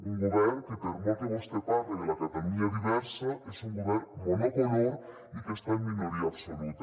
un govern que per molt que vostè parle de la catalunya diversa és un govern monocolor i que està en minoria absoluta